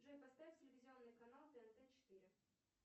джой поставь телевизионный канал тнт четыре